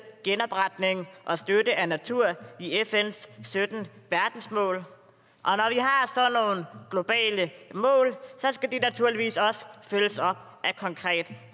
genopretning og støtte af natur i fns sytten verdensmål og globale mål skal de naturligvis også følges op af konkret